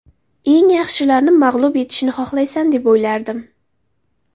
Eng yaxshilarni mag‘lub etishni xohlaysan deb o‘ylardim.